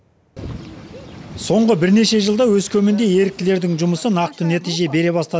соңғы бірнеше жылда өскеменде еріктілердің жұмысы нақты нәтиже бере бастады